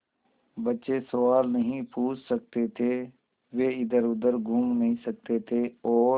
बच्चे सवाल नहीं पूछ सकते थे वे इधरउधर घूम नहीं सकते थे और